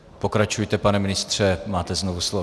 Pokračujte, pane ministře, máte znovu slovo.